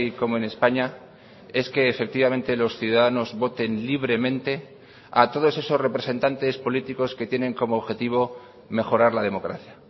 como en españa es que efectivamente los ciudadanos voten libremente a todos esos representantes políticos que tienen como objetivo mejorar la democracia